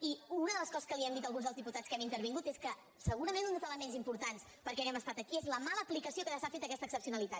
i una de les coses que li hem dit alguns dels diputats que hem intervingut és que segurament un dels ele·ments importants perquè hàgim estat aquí és la mala aplicació que s’ha fet d’aquesta excepcionalitat